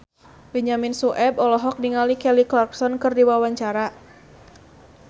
Benyamin Sueb olohok ningali Kelly Clarkson keur diwawancara